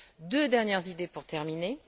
Deux dernières idées pour terminer.